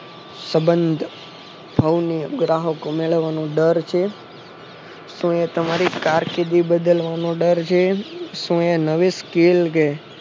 સબંધ સૌને ગ્રાહકો મેળવવાનો ડર છે તો એ તમારી કારકિર્દી બદલ એનો ડર છે શું એ નવી skill કે